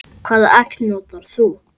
Hvaða egg notar þú?